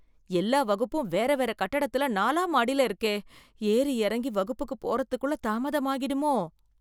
எல்லா வகுப்பும், வேற வேற கட்டடத்துல, நாலாம் மாடில இருக்கே... ஏறி எறங்கி வகுப்புக்கு போறதுக்குள்ள, தாமதமாகிடுமோ...